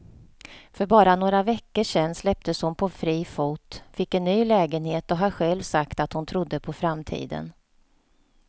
För bara några veckor sedan släpptes hon på fri fot, fick en ny lägenhet och har själv sagt att hon trodde på framtiden.